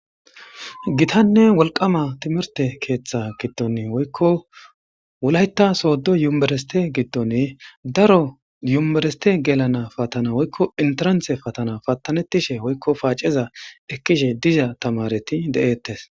gitanne wolqama timirte keeththa giddon woykko wulayita sooddo yubereste giddon daro yumebereste gelana patana woykko intiranthe patana patanettishe woykko paaceza ekkishe diza tamareti de'ettes